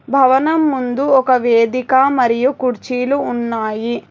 భవనం ముందు ఒక వేదిక మరియు కుర్చీలు ఉన్నాయి.